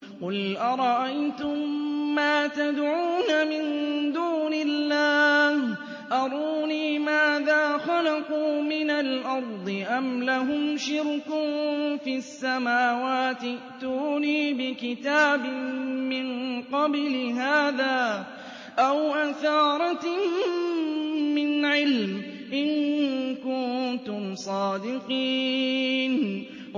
قُلْ أَرَأَيْتُم مَّا تَدْعُونَ مِن دُونِ اللَّهِ أَرُونِي مَاذَا خَلَقُوا مِنَ الْأَرْضِ أَمْ لَهُمْ شِرْكٌ فِي السَّمَاوَاتِ ۖ ائْتُونِي بِكِتَابٍ مِّن قَبْلِ هَٰذَا أَوْ أَثَارَةٍ مِّنْ عِلْمٍ إِن كُنتُمْ صَادِقِينَ